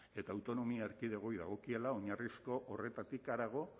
eta autonomia erkidegoei dagokiela oinarrizko horretatik harago